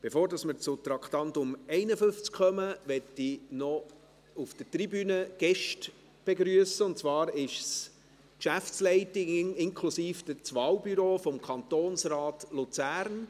Bevor wir zum Traktandum 51 kommen, möchte ich Gäste auf der Tribüne begrüssen, und zwar ist es die Geschäftsleitung inklusive Wahlbüro des Kantonsrates Luzern.